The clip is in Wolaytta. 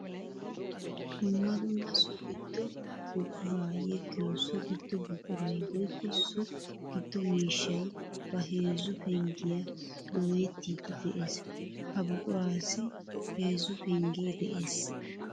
Dumma dumma so gido buqura yeggiyo so gido buquray woykko so giddo miishshay ba heezzu penggiya dooyettiddi de'ees. Ha buqurassi heezzu pengge de'ees.